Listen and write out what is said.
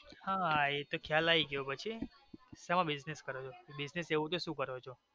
હાહા એ તો ખ્યાલ આવી ગયો પછી સેનો business કરો છો business એવો તો સુ કરો છો.